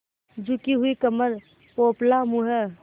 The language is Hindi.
झुकी हुई कमर पोपला मुँह